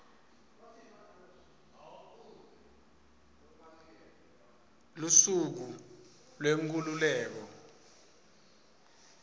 lusuku lwenkhululeko